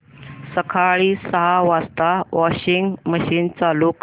सकाळी सहा वाजता वॉशिंग मशीन चालू कर